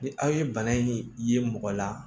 Ni aw ye bana in ye mɔgɔ la